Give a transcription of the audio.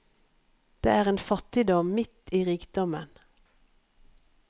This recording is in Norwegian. Det er en fattigdom midt i rikdommen.